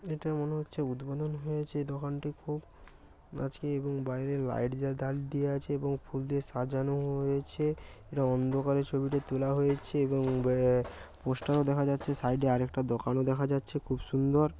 এটা মনে হচ্ছে উদ্বোধন হয়েছে দোকানটি খুব আজকে এবং বাইরে লাইট জ্বা দা দিয়ে আছে এবং ফুল দিয়ে সাজানো হয়েছে। এটা অন্ধকারে ছবিটি তোলা হয়েছে এবং ব্যা পোস্টার ও দেখা যাচ্ছে সাইড এ আরেকটা দোকানও দেখা যাচ্ছে খুব সুন্দর।